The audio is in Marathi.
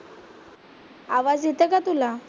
आवाज येतो का तुला?